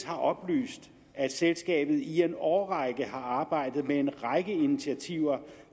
har oplyst at selskabet i en årrække har arbejdet med en række initiativer